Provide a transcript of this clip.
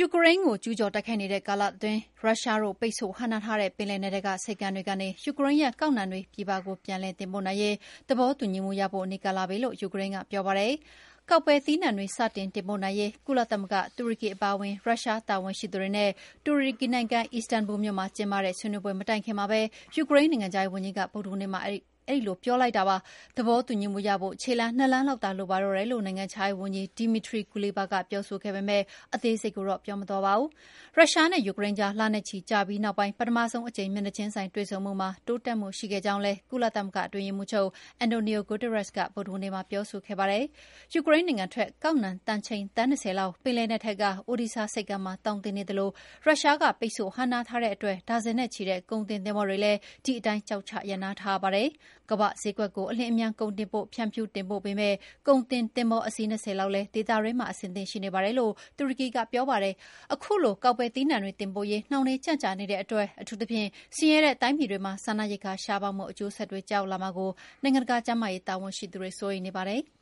ူကရိန်းကို ကျူးကျော်တိုက်ခိုက်နေတဲ့ ကာလတအတွင်း ရုရှားတို့ ပိတ်ဆို့ဟန့်တားထားတဲ့ ပင်လယ်နက်ထဲက ဆိပ်ကမ်းတွေကနေ ယူကရိန်းရဲ့ ကောက်နှံတွေ ပြည်ပကို ပြန်လည်တင်ပို့နိုင်ရေး သဘောတူညီမှုရဖို့ နီးကပ်လာပြီလို့ ယူကရိန်းက ပြောပါတယ်။ ကောက်ပဲသီးနှံတွေစတင် တင်ပို့နိုင်ရေး ကုလသမဂ္ဂ၊ တူရကီအပါအဝင် ရုရှားတာဝန်ရှိသူတွေနဲ့ တူရကီနိုင်ငံ၊ အီစတန်ဘူလ်မြို့မှာ ကျင်းပတဲ့ ဆွေးနွေးပွဲမတိုင်ခင်မှာပဲ ယူကရိန်း နိုင်ငံခြားရေးဝန်ကြီးက ဗုဒ္ဓဟူးနေ့မှာ ပြောလိုက်တာပါ။ သဘောတူညီမှုရဖို့ ခြေလှမ်း ၂ လှမ်းလောက်သာ လိုပါတော့တယ်လို့ နိုင်ငံခြားရေးဝန်ကြီး Dmytro Kuleba က ပြောဆိုခဲ့ပေမယ့် အသေးစိတ်ကိုတော့ ပြောမသွားပါဘူး။ ရုရှားနဲ့ ယူကရိန်းကြား လနဲ့ချီကြာပြီးနောက်ပိုင်း ပထမဆုံးအကြိမ် မျက်နှာချင်းဆိုင် တွေ့ဆုံမှုမှာ တိုးတက်မှုရှိခဲ့ကြောင်းလည်း ကုလသမဂ္ဂအတွင်းရေးမှူးချုပ် Antonio Guterres က ဗုဒ္ဓဟူးနေ့မှာ ပြောဆိုခဲ့တာပါ။ ယူကရိန်းနိုင်ငံထွက် ကောက်နှံတန်ချိန် သန်း ၂၀ လောက် ပင်လယ်နက်ထဲက Odesa ဆိပ်ကမ်းမှာ သောင်တင်နေသလို ရုရှားက ပိတ်ဆို့ ဟန့်တားထားတဲ့အတွက် ဒါဇင်နဲ့ချီတဲ့ ကုန်တင်သင်္ဘောတွေလည်း ဒီအတိုင်းကျောက်ချရပ်နားထားရပါတယ်။ ကမ္ဘာ့ဈေးကွက်ကို အလျင်အမြန် ကုန်တင်ပို့ ဖြန့်ဖြူးတင်ပို့ပေးမယ့် ကုန်တင်သင်္ဘောအစီး ၂၀ လောက်လည်း ဒေသတွင်းမှာအဆင်သင့်ရှိနေပါတယ်လို့ တူရကီကပြောပါတယ်။ ခုလို ကောက်ပဲသီးနှံတွေတင်ပို့ရေး နှောင့်နေး ကြန့်ကြာနေတဲ့အတွက် အထူးသဖြင့် ဆင်းရဲတဲ့တိုင်းပြည်တွေမှာ စားနပ်ရိက္ခာရှားပါးမှုအကျိုးဆက်တွေကျရောက်လာမှာကို နိုင်ငံတကာ ကျန်းမာရေးတာဝန်ရှိသူတွေ စိုးရိမ်နေကြပါတယ်။